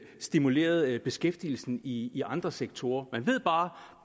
stimuleret beskæftigelsen i i andre sektorer man ved bare